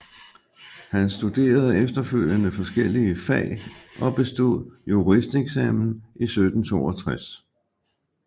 Han studerede efterfølgende forskellige fag og bestod juristeksamenen i 1762